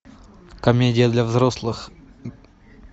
комедия для взрослых